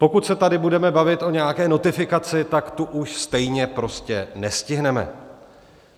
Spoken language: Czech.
Pokud se tady budeme bavit o nějaké notifikaci, tak tu už stejně prostě nestihneme.